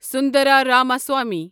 Sundara Ramaswamy